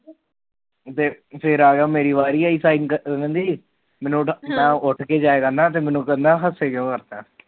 ਫਿਰ ਆ ਗਿਆ ਫਿਰ ਮੇਰੀ ਵਾਰੀ ਆਈ ਸਾਈਨ ਕਰਨ ਦੀ ਮੈਨੂੰ ਕਹਿੰਦਾ ਮੈ ਉਠ ਕੇ ਜਾਇਆ ਕਰਦਾ ਮੈਨੂੰ ਕਹਿੰਦਾ ਹਮੇ ਕਿਉ